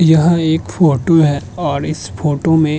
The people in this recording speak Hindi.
यह एक फोटो है और इस फोटो में --